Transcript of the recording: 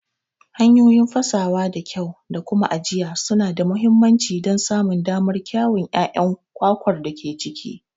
Hanyoyi fasawa da kyau da kuma ajiya suna da mahimmanci don samun damar kyawun ƴaƴan kwakwar da ke ciki.